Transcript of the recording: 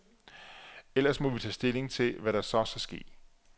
Ellers må vi tage stilling til, hvad der så skal ske.